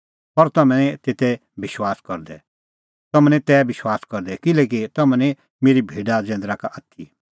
पर तम्हैं निं तै विश्वास करदै किल्हैकि तम्हैं निं मेरी भेडा जैंदरा का आथी